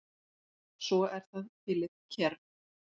Svo er það Philip Kerr.